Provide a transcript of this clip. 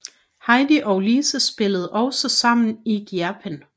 Heidi og Lise spillede også sammen i Gjerpen